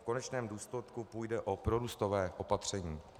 V konečném důsledku půjde o prorůstové opatření.